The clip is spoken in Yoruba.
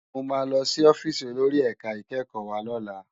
Mó má lòsí òfìsí ólóri èká ikèkkò wá lòlá